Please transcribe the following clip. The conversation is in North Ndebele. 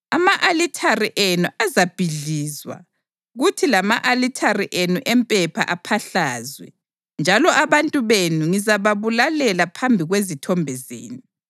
Ama-alithare enu azabhidlizwa kuthi lama-alithare enu empepha aphahlazwe; njalo abantu benu ngizababulalela phambi kwezithombe zenu.